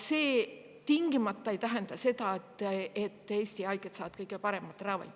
See tingimata ei tähenda seda, et Eesti haiged saavad kõige paremat ravi.